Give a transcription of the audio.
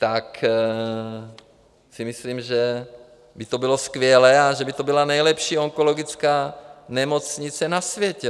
Tak si myslím, že by to bylo skvělé a že by to byla nejlepší onkologická nemocnice na světě.